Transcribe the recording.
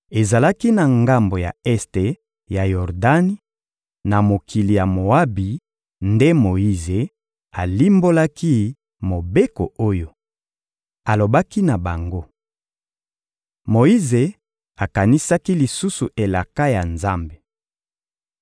Ezalaki na ngambo ya este ya Yordani, na mokili ya Moabi, nde Moyize alimbolaki mobeko oyo. Alobaki na bango: Moyize akanisaki lisusu elaka ya Nzambe